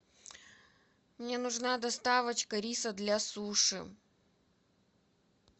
мне нужна доставочка риса для суши